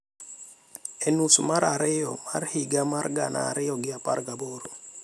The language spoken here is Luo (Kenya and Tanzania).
e nus mar ariyo mar higa mar gana ariyo gi apar gaboro